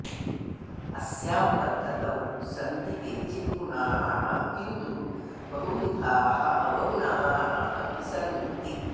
अस्यां पद्धतौ सन्ति केचिद् गुणाः किन्तु बहुविधाः अवगुणाः अपि सन्ति